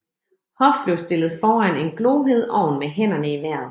Hoff blev stillet foran en glohed ovn med hænderne i vejret